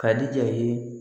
Ka diya i ye